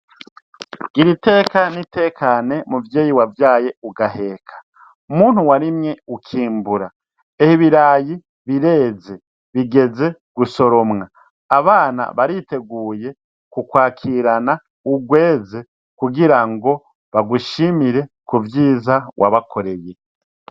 Gira iteka n'itekane, muvyeyi wavyaye ugaheka. muntu warimye ukimbura, ehe ibirayi bireze bigeze gusoromwa abana bariteguye kukwakirana urweze kugira ngo bagushimire ku vyiza wabakoreye.